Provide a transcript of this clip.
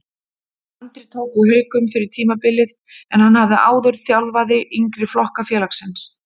Andri tók við Haukum fyrir tímabilið en hann hafði áður þjálfaði yngri flokka félagsins.